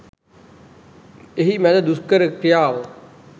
එහි මැද දුෂ්කර ක්‍රියාව